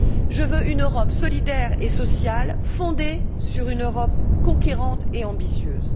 Je veux une Europe solidaire et sociale, fondée sur une Europe conquérante et ambitieuse.